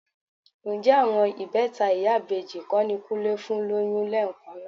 Ǹjẹ́ àwọn ìbẹta ìyá ìbejì kọ́ ni Kúnlé fún lóyún lẹ́ẹ̀kan náà?